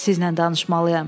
Sizinlə danışmalıyam.